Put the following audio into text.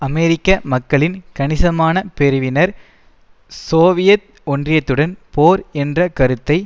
அமெரிக்க மக்களில் கணிசமான பிரிவினர் சோவியத் ஒன்றியத்துடன் போர் என்ற கருத்தை